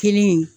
Kelen